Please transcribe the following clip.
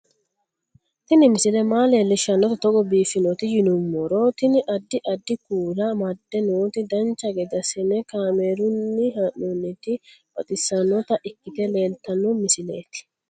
Tini misile maa leellishshannote togo biiffinoti yinummoro tini. addi addi kuula amadde nooti dancha gede assine kaamerunni haa'noonniti baxissannota ikkite leeltanno misileeti